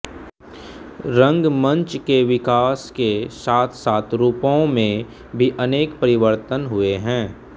रंगमंच के विकास के साथसाथ रूपों में भी अनेक परिवर्तन हुए हैं